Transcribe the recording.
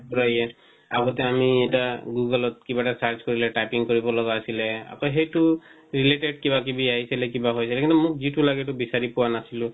আগতে আমি এটা google ত কিৱা এটা search কৰিলে typing কৰিব লগা আছিলে আৰু হেটো related কিবা কিবি আহিছিলে কিবা হৈ যায় কিন্তু মোক যিটো লাগে এটো বিচাৰি পোৱা নাছিলো